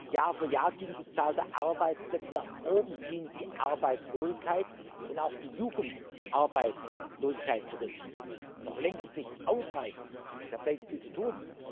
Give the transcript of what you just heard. Jahr für Jahr ging die Zahl der Arbeitsplätze nach oben, ging die Arbeitslosigkeit und auch die Jugendarbeitslosigkeit zurück noch längst nicht ausreichend, da bleibt viel zu tun.